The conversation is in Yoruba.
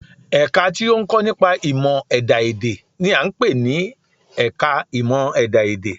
Ẹ̀ka tí ó ń kọ́ nípa ìmọ̀ ẹ̀dá-èdè n i à ń pè ní ẹka ìmọ̀ ẹ̀dá-èdè